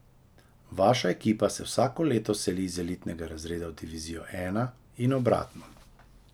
Vaša ekipa se vsako leto seli iz elitnega razreda v divizijo I in obratno.